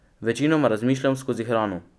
Večinoma razmišljam skozi hrano.